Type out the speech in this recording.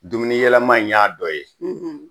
Dumuniyɛlɛma in y'a dɔ ye